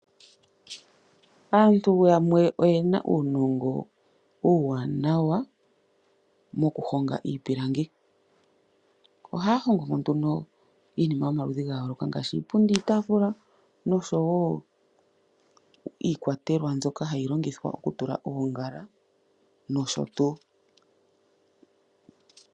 Aantu yamwe oyena uunongo uuwanawa moku honga iipilangi. Ohaya hongo nduno iinima yomaludhi ngashi iipundi, iitafula noshowo iikwatelwa mbyoka hayi longithwa oku tula oongala noshotu.